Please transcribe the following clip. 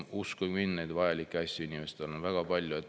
Uskuge mind, neid vajalikke asju inimestel on väga palju.